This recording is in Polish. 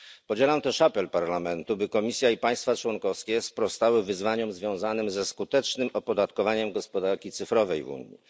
Podzielam też apel Parlamentu, by Komisja i państwa członkowskie sprostały wyzwaniom związanym ze skutecznym opodatkowaniem gospodarki cyfrowej w Unii.